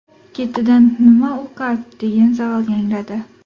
Ketidan: ‘Nima u qalb?’, degan savol yangradi.